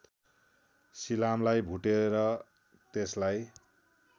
सिलामलाई भुटेर त्यसलाई